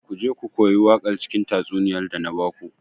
Ku je ku koyi waƙar cikin tatsuniyar da na baku.